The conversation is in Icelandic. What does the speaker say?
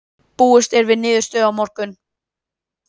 Búist er við niðurstöðu á morgun.